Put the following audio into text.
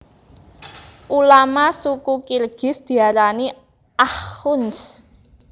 Ulama Suku Kirgiz diarani akhunds